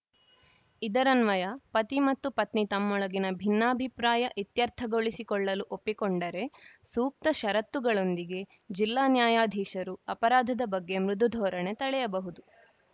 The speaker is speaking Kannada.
ಇದರನ್ವಯ ಪತಿ ಮತ್ತು ಪತ್ನಿ ತಮ್ಮೊಳಗಿನ ಭಿನ್ನಾಭಿಪ್ರಾಯ ಇತ್ಯರ್ಥಗೊಳಿಸಿಕೊಳ್ಳಲು ಒಪ್ಪಿಕೊಂಡರೆ ಸೂಕ್ತ ಷರತ್ತುಗಳೊಂದಿಗೆ ಜಿಲ್ಲಾ ನ್ಯಾಯಾಧೀಶರು ಅಪರಾಧದ ಬಗ್ಗೆ ಮೃದು ಧೋರಣೆ ತಳೆಯಬಹುದು